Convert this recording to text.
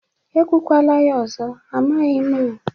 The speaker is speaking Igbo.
Ekwukwala ya ọzọ. Amakwaghi m o